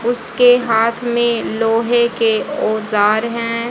उसके हाथ में लोहे के औजार हैं।